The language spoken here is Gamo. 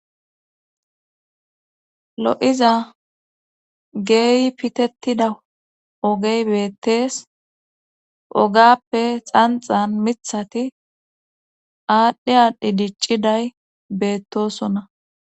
lo7iza geeyi pitettida ogey beettees ogaappe xanxxan mithati aadhi aadhi dicciday beettoosona.